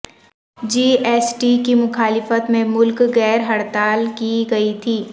جی S T کی مخالفت میں ملک گیر ہڑتال کی گئی تھی